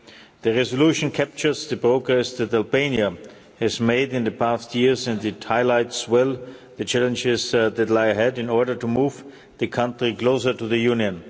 The resolution captures the progress that Albania has made in the past years and it highlights well the challenges that lie ahead in order to move the country closer to the Union.